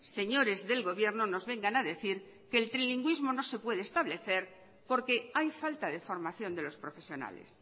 señores del gobierno nos vengan a decir que el trilingüismo no se puede establecer porque hay falta de formación de los profesionales